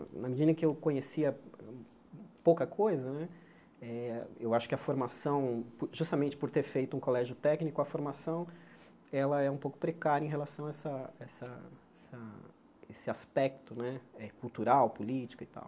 Na medida em que eu conhecia pouca coisa né, eh eu acho que a formação, justamente por ter feito um colégio técnico, a formação ela é um pouco precária em relação a essa essa essa esse aspecto né cultural, político e tal.